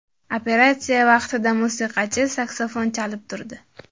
Operatsiya vaqtida musiqachi saksafon chalib turdi.